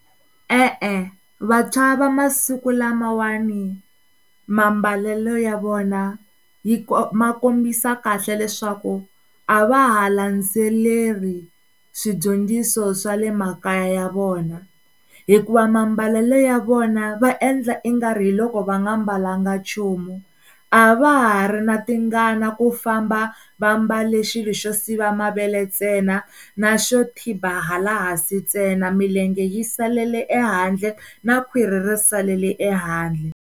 E-e, vantshwa va masiku lamawani mambalelo ya vona yi ma kombisa kahle leswaku a va ha landzeleri swidyondziso swa le makaya ya vona hikuva mambalelo ya vona va endla i nga ri hi loko va nga mbalanga nchumu, a va ha ri na tingana ku famba va mbale xilo xo siva mavele ntsena na xo tiba hala ehansi ntsena milenge yi salele ehandle na khwiri ri salele ehandle.